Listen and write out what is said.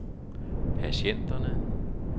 patienterne